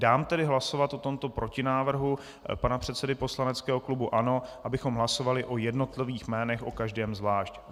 Dám tedy hlasovat o tomto protinávrhu pana předsedy poslaneckého klubu ANO, abychom hlasovali o jednotlivých jménech - o každém zvlášť.